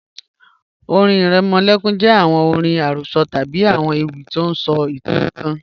ọ̀rìn iremolekun jẹ awọn ọ̀rìn arosọ tabi awọn ewi ti o sọ itan kan